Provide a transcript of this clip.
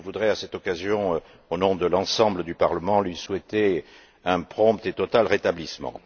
Je voudrais, à cette occasion, au nom de l'ensemble du Parlement, lui souhaiter un prompt et total rétablissement.